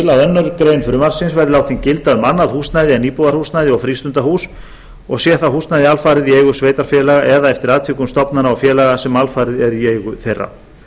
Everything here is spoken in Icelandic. annarri grein frumvarpsins verði látin gilda um annað húsnæði en íbúðarhúsnæði og frístundahús og sé það húsnæði alfarið í eigu sveitarfélaga eða eftir atvikum stofnana og félaga sem alfarið eru í eigu þeirra